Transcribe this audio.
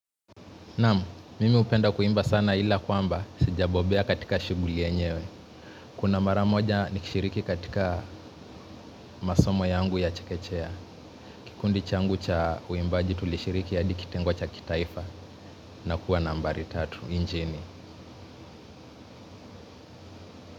Naam, mimi hupenda kuimba sana ila kwamba, sijabobea katika shughuli yenyewe. Kuna mara moja nikishiriki katika masomo yangu ya chekechea. Kikundi changu cha uimbaji tulishiriki ya hadi kitengo cha kitaifa. Na kuwa nambari tatu, nchini.